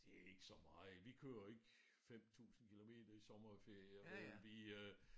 Det ikke så meget vi kører jo ikke 5000 kilometer i sommerferien men vi øh